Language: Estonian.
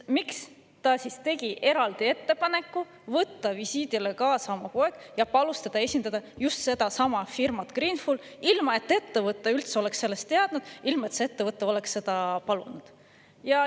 Miks ta siis tegi eraldi ettepaneku võtta visiidile kaasa oma poeg ja palus tal esindada just sedasama firmat Greenful, ilma et ettevõte üldse oleks sellest teadnud, ilma et see ettevõte oleks seda palunud?